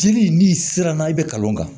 Jeli n'i sera n'a ye i bɛ kalan kan